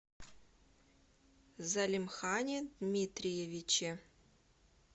залимхане дмитриевиче